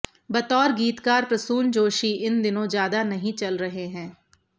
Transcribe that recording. बतौर गीतकार प्रसून जोशी इन दिनों ज्यादा नहीं चल रहे हैं